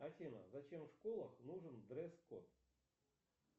афина зачем в школах нужен дресс код